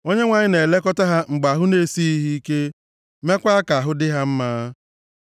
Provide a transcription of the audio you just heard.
Onyenwe anyị na-elekọta ha mgbe ahụ na-esighị ha ike, meekwa ka ahụ dị ha mma.